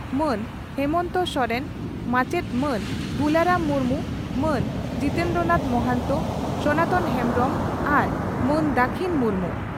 ᱢᱟᱹᱱ ᱢᱟᱹᱱ ᱦᱮᱢᱚᱱᱛᱚ ᱥᱚᱨᱮᱱ, ᱢᱟᱪᱮᱛ ᱢᱟᱱ ᱜᱩᱞᱟᱨᱟᱢ ᱢᱩᱨᱢᱩ, ᱢᱟᱹᱱ ᱡᱤᱛᱮᱱᱫᱨᱚᱱᱟᱛᱷ ᱢᱚᱦᱟᱱᱛᱚ, ᱥᱚᱱᱟᱛᱚᱱ ᱦᱮᱸᱢᱵᱽᱨᱚᱢ ᱟᱨ ᱢᱟᱹᱱ ᱫᱟᱹᱠᱷᱤᱱ ᱢᱩᱨᱢᱩ ᱾